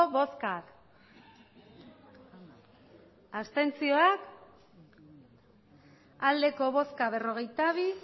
botoak hirurogeita hamairu bai berrogeita bi